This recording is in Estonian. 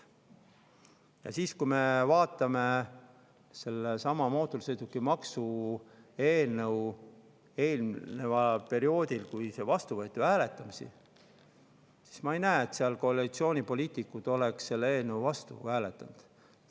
Aga kui me vaatame sellesama mootorsõidukimaksu eelnõu hääletamist, kui see vastu võeti, siis me ei näe, et koalitsioonipoliitikud oleks selle eelnõu vastu hääletanud.